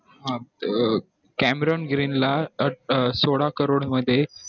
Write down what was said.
अं cameron green ला अं अं सोळा crore मध्ये